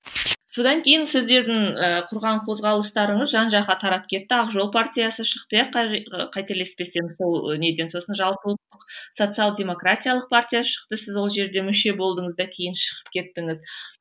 содан кейін сіздердің і құрған қозғалыстарыңыз жан жаққа тарап кетті ақ жол партиясы шықты иә қателеспесем сол неден сосын жалпы ұлттық социал демократиялық партия шықты сіз ол жерде мүше болдыңыз да кейін шығып кеттіңіз